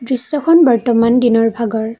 দৃশ্যখন বৰ্তমান দিনৰ ভাগৰ।